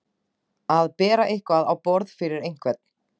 Að bera eitthvað á borð fyrir einhvern